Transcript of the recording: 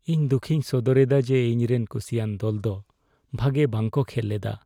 ᱤᱧ ᱫᱩᱠᱷᱤᱧ ᱥᱚᱫᱚᱨᱮᱫᱟ ᱡᱮ ᱤᱧᱨᱮᱱ ᱠᱩᱥᱤᱭᱟᱱ ᱫᱚᱞ ᱫᱚ ᱵᱷᱟᱜᱮ ᱵᱟᱝᱠᱚ ᱠᱷᱮᱞ ᱮᱫᱟ ᱾